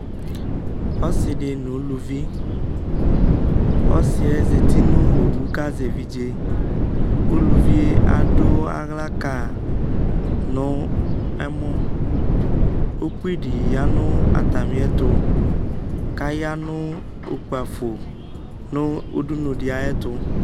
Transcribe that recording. Ɔsi di nʋ ʋlʋvi Ɔsi yɛ zati nʋ owu kʋ azɛ evidze Ulʋvi yɛ adu aɣla ka yi nʋ ɛmɔ Ukpi di ya nʋ atami ɛtʋ kaya nʋ ukpafo nʋ udunuli ayɛtʋ